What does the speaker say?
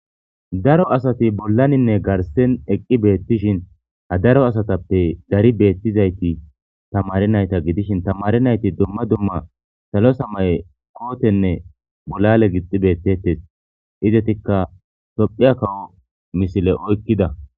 Daro asathi bollaninne garssen eqqi beeththishin ha daro asathappe dari beeththizaythi thamare naytha gidishin thamare naythi dumma dumma salo samaye koothenne bolale gixxi beeththethes; izethikka thooophphiya kawo misile oykkida.